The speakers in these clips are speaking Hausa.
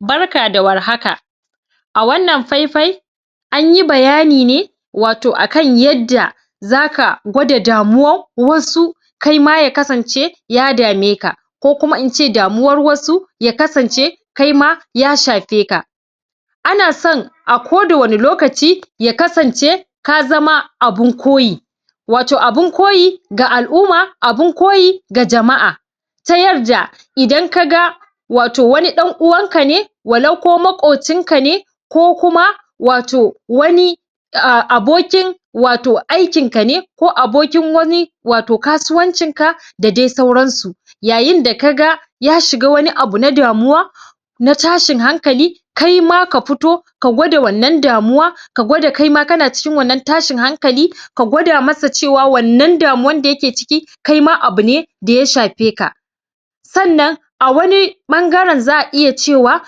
barka da warhaka a wannan faifai anyi bayani ne wato asan yadda yanda zaka gwada damuwan wasu kaima ya kasance ya dame ka ko kuma ince damuwar wasu ince ta shafe ka ana so a kowani lokaci ka kasance ka zama abun koyyi abun koyi da al'umma abun koyi da jama'a ta yarda idan kaga waton wani dan uwanka wa lau ko makocinka ne ko kuma wato wani abokin wato aikin kane ko wani abokin kasuwancin ka da dai sauransu yayin da ka ga ya shiga wani abu na damuwa na tashin hankali kaima ka fito ka gwada wannan damuwa ka gwada kaima kana cikin tashin hakali ka kwada masa cewa wannan damuwar da ya ke ciki kaima abune da ya shafe ka sannan a wani bangaren za'a iya cewa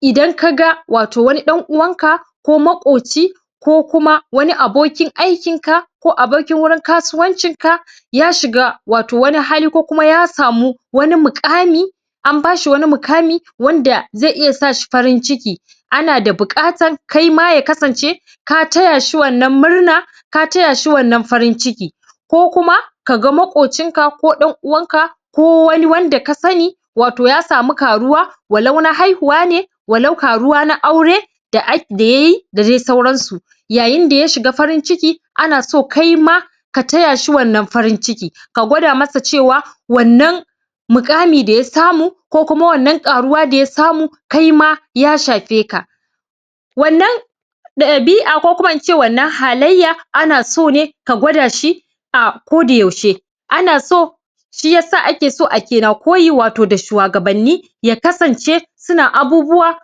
idan kaga wani wato dan uwanka ko makocinka ko kuma wani abokin aikin ka ko abokin wurin kasuwancin ka ya shiga wato wani hali ko kuma yasa mu wani mukami an bashi wani mukami da zai sashi farin ciki ana da bukatar kaima ya kasance ka tayashi wannan murnan ka taya shi wannan farin ciki ko kuma kaga makocinka ko dan uwanka ko kuma wanda kasani yasami karuwa walau na haihuwa walau karuwa na aure da yayi da dai sauransu yayinda ya shiga farin ciki ana so kaima ka taya shi wannan farin ciki ka gwada ma sa cewa muqami da yasamu ko kuma wannan karuwa da yasa mu kaima ya shafe ka wannan dabi'a ko kuma ince wannan halayya ana so ne ka gwadashi a koda yaushe ana so shiyasa ake na koyi da shuwagabanniya kasance suna abubuwa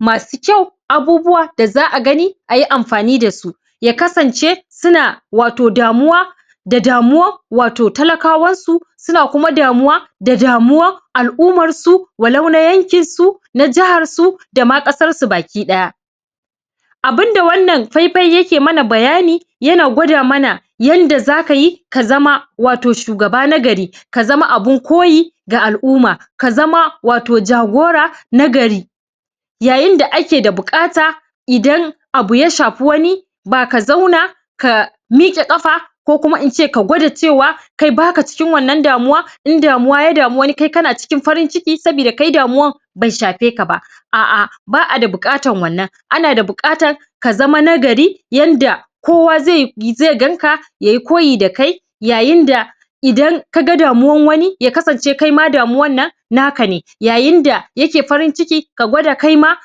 masu kyau abubuwa da za'a gani ayi amfani da su ya kasan ce suna da damuwa da damuwa da talaka wansu suna kuma damuwa da damuwa al'ummar su wa lau na yanki su na jiharsu da dama kasar su baki daya abunda wannan faifai ya ke mana bayani yana gwada mana yadda zakayi ka zama wato shugaba na gari ka zama abun koyi da al'umma kaima ka zama jagora na gari yayin da ake da bukata idan abin yasha fi wani ba kazo ka miqe ƙafa ba ko kuma ince ka gwada cewa kai baka cikin damuwa in damuwa ya na farin cikin da muwa bai shafe ka ba a a ana da bukatar ana da bukatar ka zama na gari yanda ko wa zai ganka yayi koyi da kai idan ka ga da muwan wani dalilin da ya kasance naka ne yayin da yake farin cikin kaima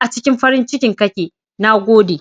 acikin farin ciki kake nagode